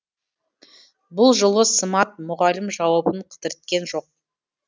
бұл жолы сымат мұғалім жауабын кідірткен жоқ